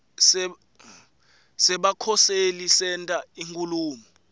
sebakhoseli senta inkhulumo